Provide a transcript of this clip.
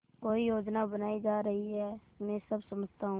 कोई योजना बनाई जा रही है मैं सब समझता हूँ